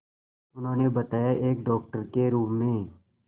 उन्होंने बताया एक डॉक्टर के रूप में